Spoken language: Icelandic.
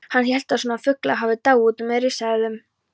Hann hélt að svona fuglar hefðu dáið út með risaeðlunum!